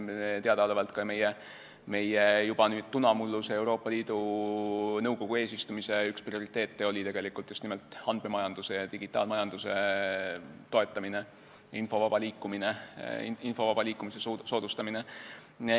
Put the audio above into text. Teadaolevalt oli ka meie nüüd juba tunamulluse Euroopa Liidu Nõukogu eesistumise üks prioriteete just nimelt andmemajanduse ja digitaalmajanduse toetamine ning info vaba liikumise soodustamine.